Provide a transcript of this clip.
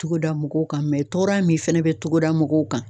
Togoda mɔgɔw ka mɛn tɔɔrɔ ya min fɛnɛ bɛ togoda mɔgɔw kan.